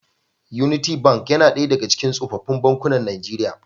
Unity Bank yana ɗaya daga cikin sofofin bankuna Nijeriya.